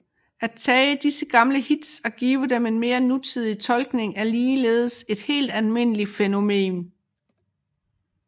At tage gamle hits og give dem en mere nutidig tolkning er ligeledes et helt almindeligt fænomen